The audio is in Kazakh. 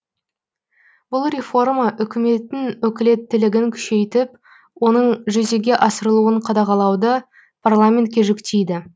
бұл реформа үкіметтің өкілеттілігін күшейтіп оның жүзеге асырылуын қадағалауды парламентке жүктейді